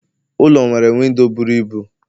Ụlọ nwere windo bụrụ ịbụ